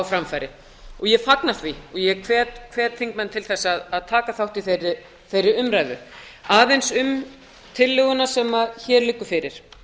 framfæri ég fagna því og hvet þingmenn til að taka þátt í þeirri umræðu aðeins um tillöguna sem hér liggur fyrir